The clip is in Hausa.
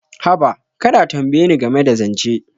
Haba, kar a tambaye ni game da zance.